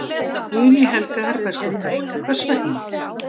Guðný Helga Herbertsdóttir: Hver vegna?